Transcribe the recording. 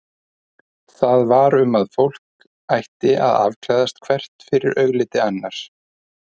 Það var um að fólk ætti að afklæðast hvert fyrir augliti annars.